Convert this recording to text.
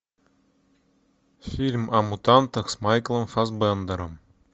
фильм о мутантах с майклом фассбендером